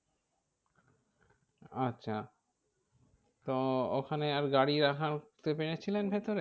আচ্ছা তো ওখানে আর গাড়ি রাখার রাখাতে পেরেছিলেন ভিতরে?